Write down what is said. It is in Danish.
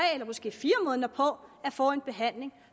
eller måske fire måneder på at få en behandling